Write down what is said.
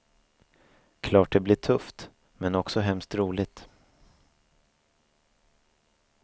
Klart det blir tufft, men också hemskt roligt.